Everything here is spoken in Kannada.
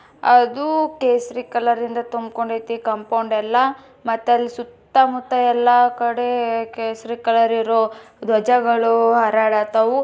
ಅದು ಕೇಸರಿ ಕಲರ್ ರಿಂದ ತುಂಬಿಕೊಂಡ್ ಐತಿ ಕಾಂಪೌಂಡ್ ಎಲ್ಲಾ ಮತ್ ಅಲ್ ಸುತ್ತ ಮುತ್ತ ಎಲ್ಲಾ ಕಡೆ ಕೇಸರಿ ಕಲರ್ ಇರೋ ಧ್ವಜಗಳು ಹಾರಾಡತಾವು.